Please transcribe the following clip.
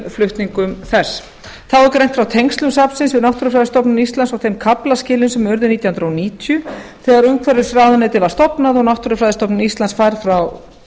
flutningum þess þá er greint frá tengslum safnsins við náttúrufræðistofnun íslands og þeim kaflaskilum sem urðu nítján hundruð níutíu þegar umhverfisráðuneytið var stofnað og náttúrufræðistofnun íslands færð frá